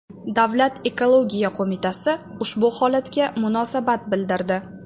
Davlat ekologiya qo‘mitasi ushbu holatga munosabat bildirdi .